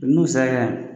N'u sera yan